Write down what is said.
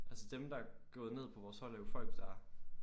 Altså dem der er gået ned på vores hold er jo folk der